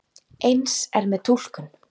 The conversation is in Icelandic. Eins er með túlkun.